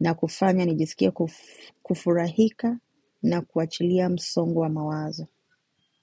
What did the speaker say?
na kufanya nijisikie kufurahika na kuachilia msongo wa mawazo.